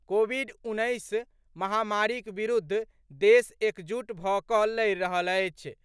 Covid उन्नैस महामारीक विरूद्ध देश एकजुट भऽ कऽ लड़ि रहल अछि।